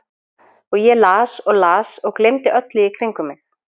Og ég las og las og gleymdi öllu í kringum mig.